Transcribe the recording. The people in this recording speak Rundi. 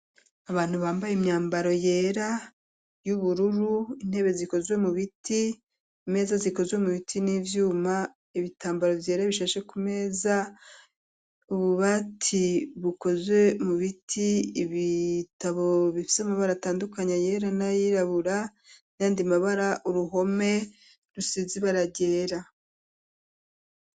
Abantu bambaye imyambaro yera ,y'ubururu ,intebe zikozwe mubiti ,Imeza zikozwe mu biti, n'ivyuma ,ibitambaro vyera bishashe ku meza ,ububati bukozwe mu biti ,ibitabo bifise amabara atandukanya yera ,na yirabura ,nayandi mabara ,uruhome rusizi bara yera.